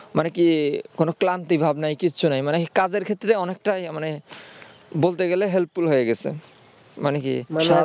মানে কি কোন ক্লান্তি ভাব নাই কিচ্ছু নাই মানে কাজের ক্ষেত্রে অনেকটাই মানে বলতে গেলে helpful হয়ে গেছে মানে কি